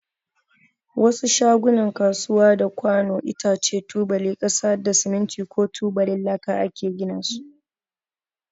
Wasu shagunan kasuwa da kwanu, itace, tubalin kasa da siminti ko tubalin laka ake gina su.